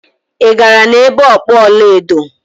Ị gara na-ebe okpu ọla edo?